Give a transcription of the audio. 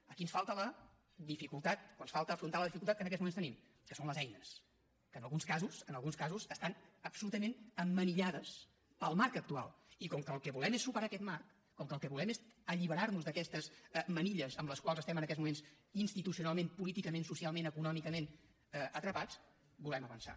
aquí ens falta la dificultat o ens falta afrontar la dificultat que en aquests moments tenim que són les eines que en alguns casos en alguns casos estan absolutament emmanillades pel marc actual i com que el que volem és superar aquest marc com que el que volem és alliberar nos d’aquestes manilles amb les quals estem en aquests moments institucionalment políticament socialment econòmicament atrapats volem avançar